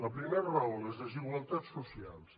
la primera raó les desigualtats socials